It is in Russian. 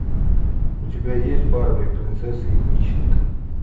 у тебя есть барби принцесса и нищенка